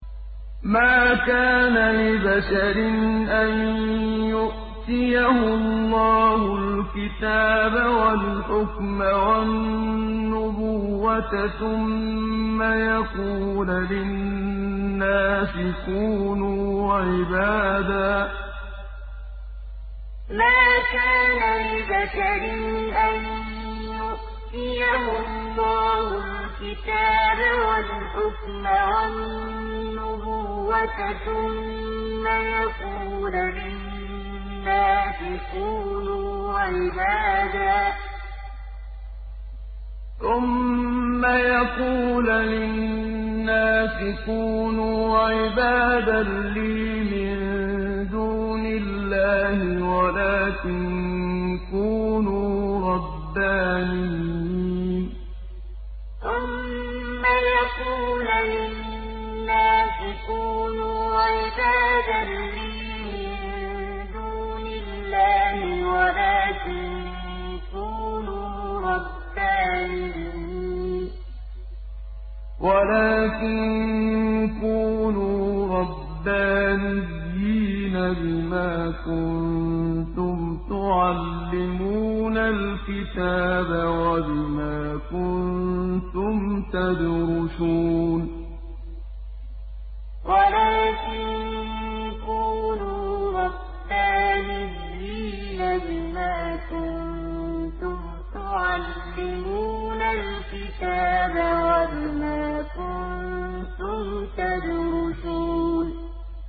مَا كَانَ لِبَشَرٍ أَن يُؤْتِيَهُ اللَّهُ الْكِتَابَ وَالْحُكْمَ وَالنُّبُوَّةَ ثُمَّ يَقُولَ لِلنَّاسِ كُونُوا عِبَادًا لِّي مِن دُونِ اللَّهِ وَلَٰكِن كُونُوا رَبَّانِيِّينَ بِمَا كُنتُمْ تُعَلِّمُونَ الْكِتَابَ وَبِمَا كُنتُمْ تَدْرُسُونَ مَا كَانَ لِبَشَرٍ أَن يُؤْتِيَهُ اللَّهُ الْكِتَابَ وَالْحُكْمَ وَالنُّبُوَّةَ ثُمَّ يَقُولَ لِلنَّاسِ كُونُوا عِبَادًا لِّي مِن دُونِ اللَّهِ وَلَٰكِن كُونُوا رَبَّانِيِّينَ بِمَا كُنتُمْ تُعَلِّمُونَ الْكِتَابَ وَبِمَا كُنتُمْ تَدْرُسُونَ